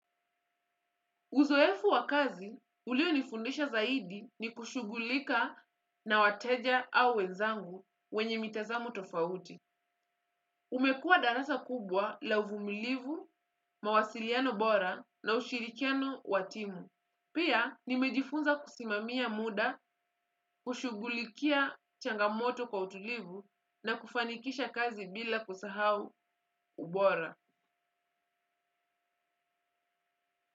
Uzoefu wa kazi, ulionifundisha zaidi ni kushugulika na wateja au wenzangu wenye mitazamo tofauti. Umekua darasa kubwa la uvumilivu, mawasiliano bora na ushirikiano wa timu. Pia, nimejifunza kusimamia muda, kushugulikia changamoto kwa utulivu na kufanikisha kazi bila kusahau ubora.